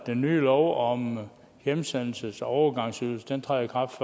den nye lov om hjemsendelses og overgangsydelse træder i kraft